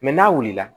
n'a wulila